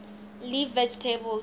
leaf vegetables